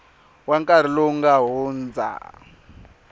wa nkarhi lowu nga hundza